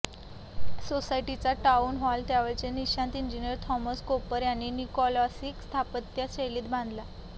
सोसायटीचा town hall त्यावेळचे निष्णात इंजिनीअर थॉमस कोपर यांनी निओक्लासिक स्थापत्य शैलीत बांधला